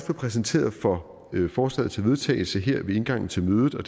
præsenteret for forslaget til vedtagelse her ved indgangen til mødet og